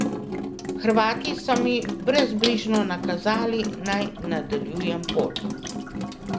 Hrvati so mi brezbrižno nakazali, naj nadaljujem pot.